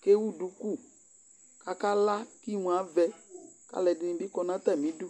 ko ewu duku ko aka la ko imu avɛ ko alo ɛdi bi kɔ no atami du